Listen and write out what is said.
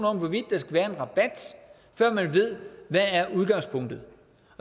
om hvorvidt der skal være en rabat før man ved hvad udgangspunktet